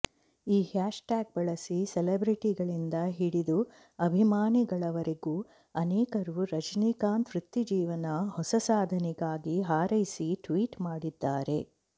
ಈ ಹ್ಯಾಶ್ಟ್ಯಾಗ್ ಬಳಸಿ ಸೆಲೆಬ್ರಿಟಿಗಳಿಂದ ಹಿಡಿದು ಅಭಿಮಾನಿಗಳವರೆಗೂ ಅನೇಕರು ರಜನಿಕಾಂತ್ ವೃತ್ತಿಜೀವನ ಹೊಸ ಸಾಧನೆಗಾಗಿ ಹಾರೈಸಿ ಟ್ವೀಟ್ ಮಾಡಿದ್ದಾರೆ